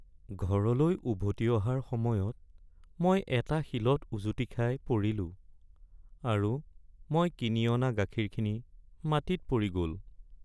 ঘৰলৈ উভতি অহাৰ সময়ত মই এটা শিলত উজুতি খাই পৰিলোঁ, আৰু মই কিনি অনা গাখীৰখিনি মাটিত পৰি গ’ল।